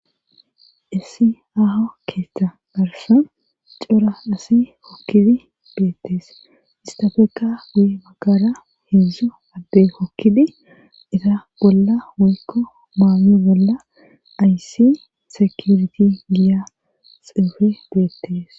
issi aho keeththa garsa cora asi hokkidi beettees istafeka guyi magara heedzdzu adde hokkidi isa bolla woykko maami bolla ayssi sekuriti giya xuufe beettees